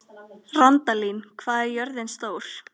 Randalín, hvað er jörðin stór?